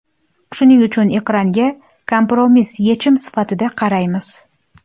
Shuning uchun ekranga kompromiss yechim sifatida qaraymiz.